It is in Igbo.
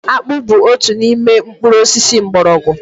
Akpu bu otu n'ime mkpuru osisi mgbọrọgwụ